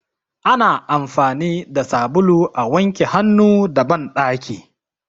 Ana amfani da sabulu a wanke hannu a banɗaki.